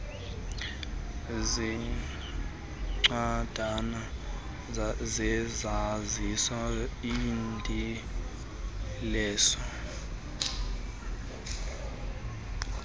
zeencwadana zezazisi iidilesi